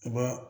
U ba